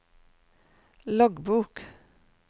loggbok